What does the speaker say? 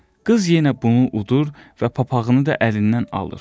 Qız yenə bunu udur və papağını da əlindən alır.